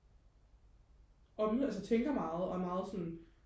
altså tænker meget og er meget sådan